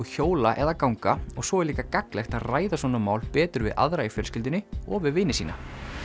hjóla eða ganga og svo er líka gagnlegt að ræða svona mál betur við aðra í fjölskyldunni og við vini sína